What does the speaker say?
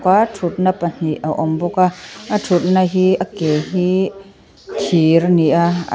thutna pahnih a awm bawk a a thutna hi a ke hi thir ani a--